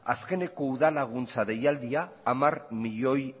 azkeneko udal laguntza deialdia hamar milioi